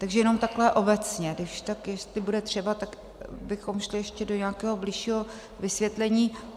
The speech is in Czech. Takže jenom takhle obecně, když tak jestli bude třeba, tak bychom šli ještě do nějakého bližšího vysvětlení.